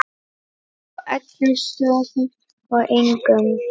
Á öllum stöðum og engum.